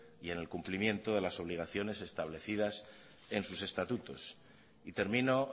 y en el cumplimiento de las obligaciones establecidas en sus estatutos y termino